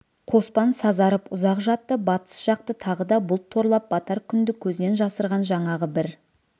қоспан сазарып ұзақ жатты батыс жақты тағы да бұлт торлап батар күнді көзден жасырған жаңағы бір